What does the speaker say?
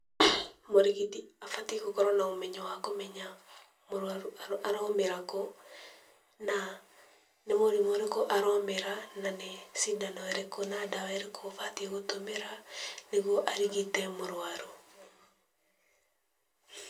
Mũrigiti abatiĩ gũkorwo na ũmenyo wa kũmenya mũrwaru aromera kũ, na nĩ mũrimũ ũrĩkũ aromera, na nĩ cindano ĩrĩkũ na dawa ĩrĩkũ ũbatiĩ gũtũmĩra, nĩguo arigite mũrwaru.